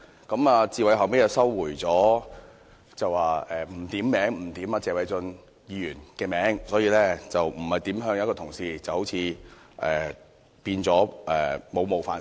他後來收回，說不點名指謝偉俊議員，也不是指任何一位同事，那便沒有冒犯性了。